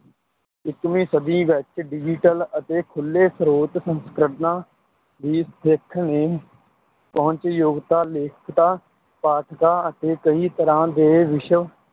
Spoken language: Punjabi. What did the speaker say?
ਇੱਕੀਵੀਂ ਸਦੀ ਵਿੱਚ digital ਅਤੇ ਖੁੱਲੇ ਸਰੋਤ ਸੰਸਕਰਣਾਂ ਦੀ ਦਿੱਖ ਨੇ ਪਹੁੰਚਯੋਗਤਾ, ਲੇਖਕਤਾ, ਪਾਠਕਾਂ ਅਤੇ ਕਈ ਤਰ੍ਹਾਂ ਦੇ ਵਿਸ਼ਵ